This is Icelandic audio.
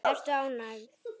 Ertu ánægð?